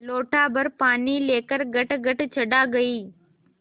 लोटाभर पानी लेकर गटगट चढ़ा गई